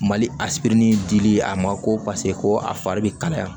Mali a sibiri ni dili ye a ma ko paseke ko a fari bɛ kalaya